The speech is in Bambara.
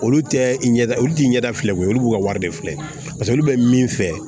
Olu tɛ i ɲɛda olu ti ɲɛda filɛ olu b'u ka wari de filɛ olu bɛ min fɛ